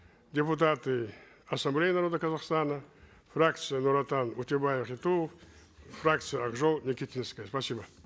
депутаты ассамблеи народа казастана фракция нур отан утебаев и туов фракция ак жол никитинская спасибо